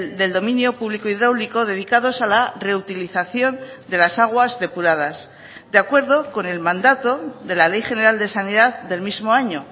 del dominio público hidráulico dedicados a la reutilización de las aguas depuradas de acuerdo con el mandato de la ley general de sanidad del mismo año